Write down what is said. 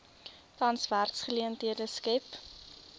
tans werksgeleenthede skep